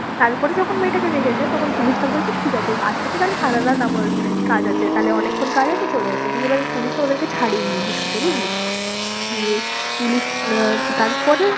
তারপরে যখন মেয়েটাকে দেখেছে তখন পুলিশটা বলছে ঠিক আছে আজকে তো তাহলে সারারাত আমার কাজ আছে তাহলে অনেকক্ষন কাজ আছে চলে এসো দিয়ে এবার পুলিশটা ওদেরকে ছাড়েনি কিছুতে বুঝলি? দিয়ে পুলিশ আহ তারপরে